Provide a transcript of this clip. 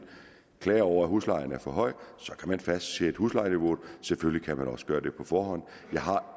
klager over at huslejen er for høj så kan man fastsætte huslejeniveauet selvfølgelig kan man også gøre det på forhånd jeg har